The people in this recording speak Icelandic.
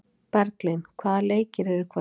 Berglín, hvaða leikir eru í kvöld?